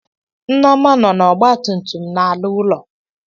Nneoma nọ na Ogba tum tum na-ala ulọ.